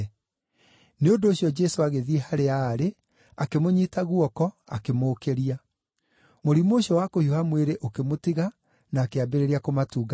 Nĩ ũndũ ũcio Jesũ agĩthiĩ harĩa aarĩ, akĩmũnyiita guoko akĩmũũkĩria. Mũrimũ ũcio wa kũhiũha mwĩrĩ ũkĩmũtiga na akĩambĩrĩria kũmatungatĩra.